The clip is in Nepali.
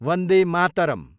वन्दे मातरम्